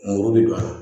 Mori bi don a la